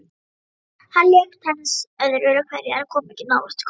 Hann lék tennis öðru hverju en kom ekki nálægt golfi.